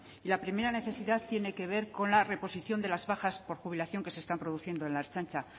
y la primera necesidad tiene que ver con la reposición de las bajas por jubilación que se están produciendo en la ertzaintza